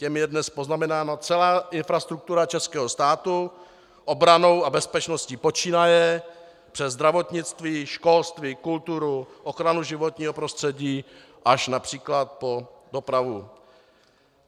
Těmi je dnes poznamenána celá infrastruktura českého státu, obranou a bezpečností počínaje přes zdravotnictví, školství, kulturu, ochranu životního prostředí až například po dopravu.